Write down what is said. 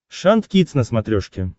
шант кидс на смотрешке